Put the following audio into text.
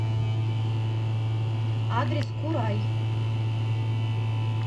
адрес курай